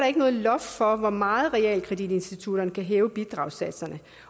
ikke noget loft for hvor meget realkreditinstitutterne kan hæve bidragssatserne